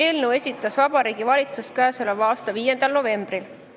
Eelnõu esitas Vabariigi Valitsus k.a 5. novembril.